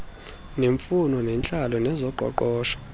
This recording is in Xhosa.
neemfuno zentlalo nezoqoqosho